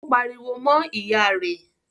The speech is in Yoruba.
Ó pariwo mọ́ ìyá rẹ̀?